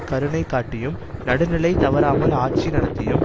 கருணை காட்டியும் நடுநிலை தவறாமல் ஆட்சி நடத்தியும்